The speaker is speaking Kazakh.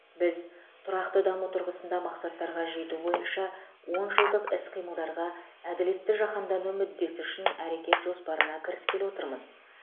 біз тұрақты даму тұрғысында мақсаттарға жету бойынша он жылдық іс қимылдарға әділетті жаһандану мүддесі үшін әрекет жоспарына кіріскелі отырмыз